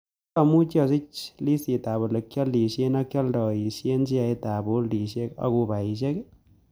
Tos' amuuch asiich liistiitap ole kyaliisye ak kyalntayiisyen sheaitap boltisiek ak ubaisiek